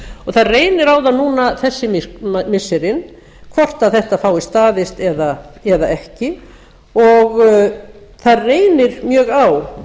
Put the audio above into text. það reynir á það núna þessi missirin hvort þetta fáist staðist eða ekki og það reynir mjög á